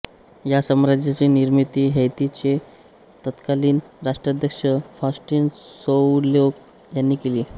या साम्राज्याची निर्मिती हैतीचे तत्कालीन राष्ट्राध्यक्ष फॉस्टीन सोउलोक यांनी केली